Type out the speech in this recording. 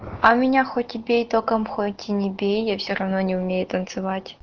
а меня хоть бей током хоть и не бей я все равно не умею танцевать